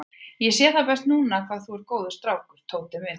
Ég sé það best núna hvað þú ert góður strákur, Tóti minn.